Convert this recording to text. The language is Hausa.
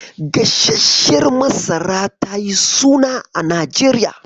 Gasarshiyar masara tayi suna a Najeriya.